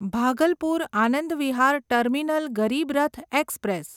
Bhagalpur Anand Vihar terminal Garib Rath express